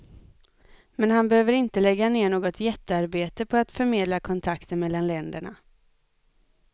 Men han behöver inte lägga ner något jättearbete på att förmedla kontakter mellan länderna.